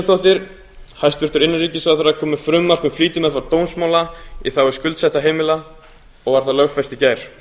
hanna birna kristjánsdóttir kom með frumvarp um flýtimeðferð dómsmála í þágu skuldsettra heimila og var það lögfest í gær